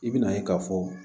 I bɛna ye k'a fɔ